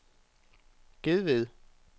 Gedved